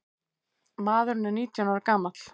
Maðurinn er nítján ára gamall.